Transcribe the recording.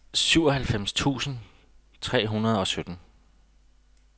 syvoghalvfems tusind tre hundrede og sytten